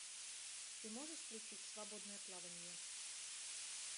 ты можешь включить свободное плавание